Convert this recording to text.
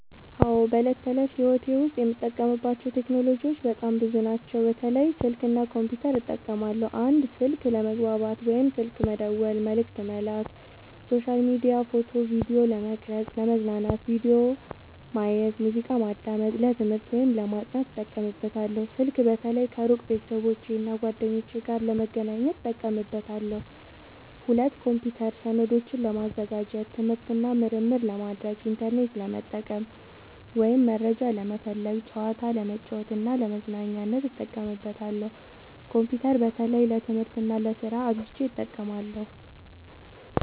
አዎ፣ በዕለት ተዕለት ሕይወቴ ዉስጥ የምጠቀምባቸው ቴክኖሎጂዎች በጣም ብዙ ናቸው፣ በተለይ ስልክ እና ኮምፒውተር እጠቀማለሁ። 1. ስልክ፦ ለመግባባት (ስልክ መደወል፣ መልዕክት መላክ)፣ሶሻል ሚዲያ፣ ፎቶ እና ቪዲዮ ለመቅረጵ፣ ፣ለመዝናኛነት(ቪዲዮ ማየት፣ ሙዚቃ ማዳመጥ)፣ ለትምህርት(ለማጥናት) እጠቀምበታለሁ። ስልክ በተለይ ከሩቅ ቤተሰቦቼና እና ጓደኞቼ ጋር ለመገናኘት እጠቀምበታለሁ። 2. ኮምፒውተር፦ ሰነዶችን ለማዘጋጀት፣ ትምህርት እና ምርምር ለማድረግ፣ ኢንተርኔት ለመጠቀም (መረጃ ለመፈለግ)፣ ጨዋታ ለመጫወት እና ለመዝናኛነት እጠቀምበታለሁ። ኮምፒውተር በተለይ ለትምህርት እና ለስራ አብዝቸ እጠቀማለሁ።